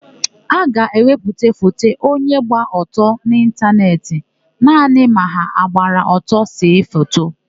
A ga-ewepụta foto onye gba ọtọ n'ịntanetị naanị ma ha gbara ọtọ see foto.